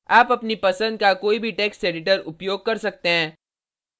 आप अपनी पसंद का कोई भी टेक्स्ट editor उपयोग कर सकते हैं